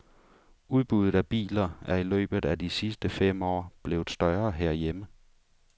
Udbuddet af biler er i løbet af de sidst fem år blevet større herhjemme.